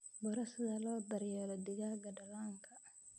Baro sida loo daryeelo digaagga dhallaanka.